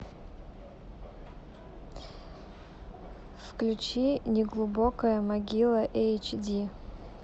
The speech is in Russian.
включи неглубокая могила эйч ди